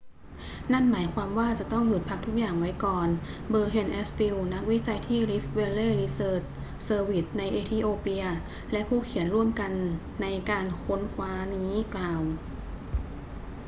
นั่นหมายความว่าจะต้องหยุดพักทุกอย่างไว้ก่อน berhane asfaw นักวิจัยที่ rift vally research service ในเอธิโอเปียและผู้เขียนร่วมในการค้นคว้านี้กล่าว